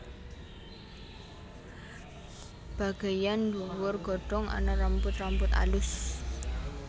Bagéyan ndhuwur godhong ana rambut rambut alus